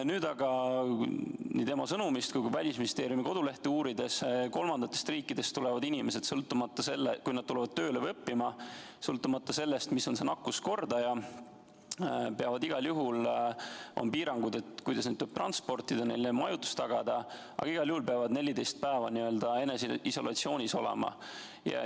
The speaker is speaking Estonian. Nüüd aga nii tema sõnumist tulenevalt kui ka Välisministeeriumi kodulehte uurides vaatan, et kolmandatest riikidest saabuvatele inimestele, kui nad tulevad tööle või õppima, sõltumata sellest, mis on konkreetse riigi nakkuskordaja, on piirangud, kuidas neid transportida ja neile majutus tagada, aga igal juhul peavad nad 14 päeva eneseisolatsioonis olema.